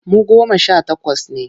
Mu goma sha takwas ne.